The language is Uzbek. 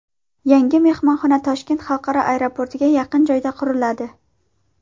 Yangi mehmonxona Toshkent xalqaro aeroportiga yaqin joyda quriladi.